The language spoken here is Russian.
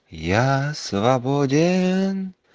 я свободен